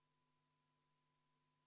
31. muudatusettepaneku on esitanud Kalle Grünthal.